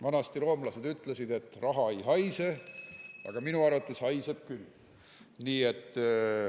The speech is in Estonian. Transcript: Vanasti roomlased ütlesid, et raha ei haise, aga minu arvates haiseb küll.